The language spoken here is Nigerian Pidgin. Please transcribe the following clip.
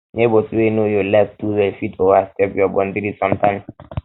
neighbors wey know your life too well fit overstep your boundary sometimes